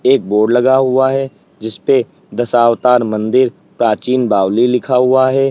एक बोर्ड लगा हुआ है जिसपे दशावतार मंदिर प्राचीन बावली लिखा हुआ है।